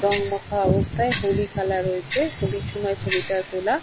রং মাখা অবস্থায় হলি খেলা রয়েছে। হলির সময় ছবিটা তোলা।